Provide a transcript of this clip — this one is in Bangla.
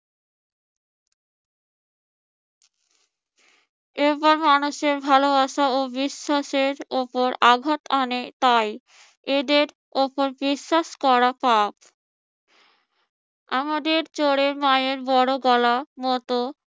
এইবার মানুষের ভালোবাসা ও বিশ্বাসের উপর আঘাত আনে তাই এদের উপর বিশ্বাস করা পাপ। আমাদের চোরের মায়ের বড় গলার মত